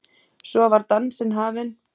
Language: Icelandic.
Svo var dansinn hafinn.